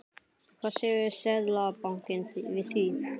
Hvað segir Seðlabankinn við því?